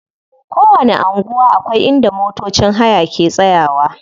Kowanni anguwa akwai inda motocin haya ke tsayawa.